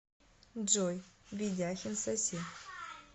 джой ведяхин соси